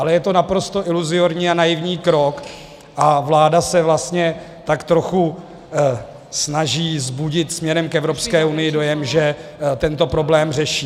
Ale je to naprosto iluzorní a naivní krok a vláda se vlastně tak trochu snaží vzbudit směrem k Evropské unii dojem, že tento problém řeší.